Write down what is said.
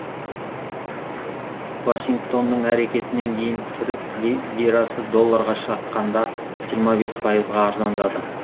вашингтонның әрекетінен кейін түрік лирасы долларға шаққанда жиырма бес пайызға арзандады